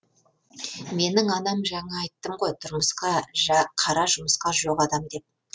менің анам жаңа айттым ғой тұрмысқа қара жұмысқа жоқ адам деп